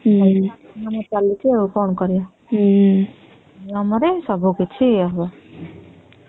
କଣ କରିବା ଏଇଟା ନିୟମ ରେ ଚାଲୁଚି କଣ କରିବା ହୁଁ